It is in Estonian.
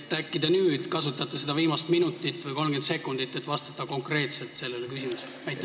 Äkki te kasutate seda viimast minutit või 30 sekundit, et vastata konkreetselt sellele küsimusele.